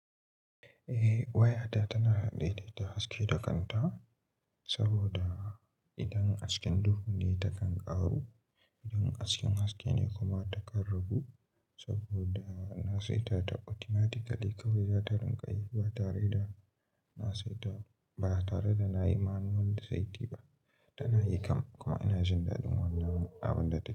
Eh waya ta tana haɗe da da haske da kanta saboda idan hasken duhu ne takan ƙaru, idan hasken haske ne kuma takan ragu saboda na saita ta automatically kawai za ta rinƙa yi ba tare da na saita ba tare da na yi manual setting ba tana yi kam kuma ina jin dadin wannan abin da take.